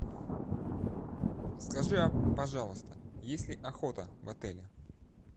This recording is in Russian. скажи пожалуйста есть ли охота в отеле